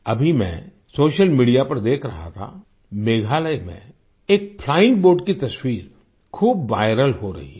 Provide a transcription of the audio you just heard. अभी मैं social media पर देख रहा था मेघालय में एक फ्लाइंग बोट की तस्वीर खूब विरल हो रही है